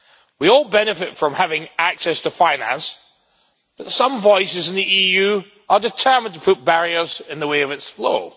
We all benefit from having access to finance, but some voices in the EU are determined to put barriers in the way of its flow.